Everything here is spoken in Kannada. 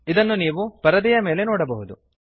ಅದನ್ನು ನೀವು ಪರದೆಯ ಮೇಲೆ ನೋಡಬಹುದು